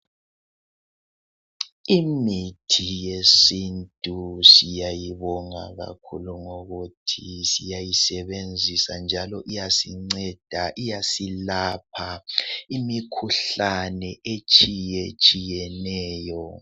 Imithi yesintu siyayibonga kakhulu ngokuthi siyayisebenzisa njalo iyasinceda, iyasilapha imikhuhlane etshiyetshiyeneyo.